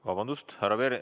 Vabandust!